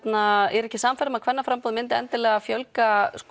er ekki sannfærð um að kvennaframboð myndi endilega fjölga